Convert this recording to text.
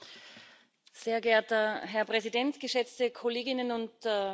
Sehr geehrter Herr Präsident, geschätzte Kolleginnen und Kollegen!